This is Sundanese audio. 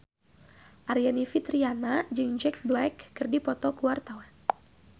Aryani Fitriana jeung Jack Black keur dipoto ku wartawan